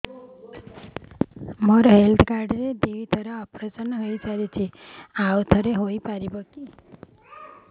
ମୋର health card ରେ ଦୁଇ ଥର ଅପେରସନ ସାରି ଯାଇଛି ଆଉ ଥର ହେଇପାରିବ